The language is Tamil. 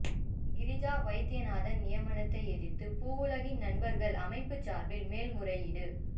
கிரிஜா வைத்தியநாதன் நியமனத்தை எதிர்த்து பூவுலகின் நண்பர்கள் அமைப்பு சார்பில் மேல்முறையீடு